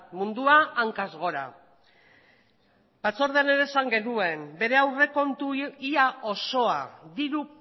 mundua hankaz gora batzordean ere esan genuen bere aurrekontu ia osoa diru